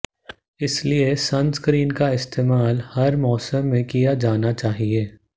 इसलिए सनस्क्रीन का इस्तेमाल हर मौसम में किया जाना चाहिए